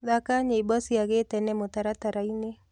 thaka nyĩmbo cĩa gĩtene mũtarataraĩnĩ